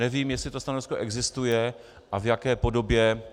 Nevím, jestli to stanovisko existuje a v jaké podobě.